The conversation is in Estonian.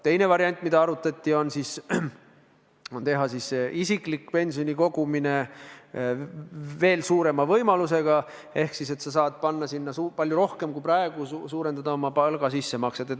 Teine variant, mida arutati, on anda isikliku pensioni kogumiseks veel suurem võimalus ehk siis sa saad panna sinna palju rohkem kui praegu, suurendada oma palgast tehtavaid sissemakseid.